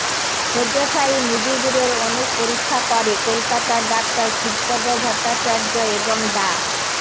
শয্যাশায়ী মুজিবুরের অনেক পরীক্ষা করে কলকাতার ডাক্তার শিবপদ ভট্টাচার্য এবং ডা